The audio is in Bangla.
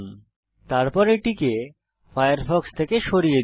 তারপর এটিকে ফায়ারফক্স থেকে সরিয়ে দিন